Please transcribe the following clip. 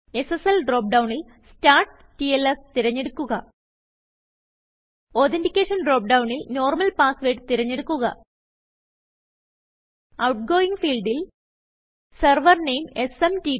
SSL drop ഡൌണിൽ സ്റ്റാർട്ട്ടിൽസ് തിരഞ്ഞെടുക്കുക Authenticationഡ്രോപ്പ് ഡൌണിൽ നോർമൽ passwordതിരഞ്ഞെടുക്കുക ഔട്ട്ഗോയിംഗ് ഫീൽഡിൽ സെർവർ നെയിം എസ്എംടിപി